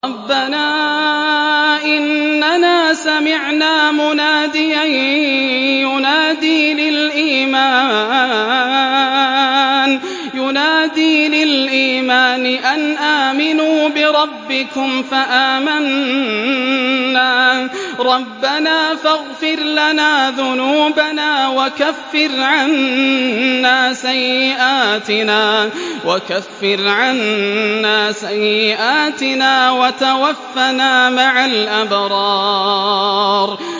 رَّبَّنَا إِنَّنَا سَمِعْنَا مُنَادِيًا يُنَادِي لِلْإِيمَانِ أَنْ آمِنُوا بِرَبِّكُمْ فَآمَنَّا ۚ رَبَّنَا فَاغْفِرْ لَنَا ذُنُوبَنَا وَكَفِّرْ عَنَّا سَيِّئَاتِنَا وَتَوَفَّنَا مَعَ الْأَبْرَارِ